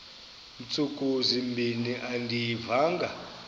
ntsuku zimbin andiyivanga